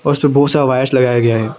बहुत सा वायर्स लगाया गया है।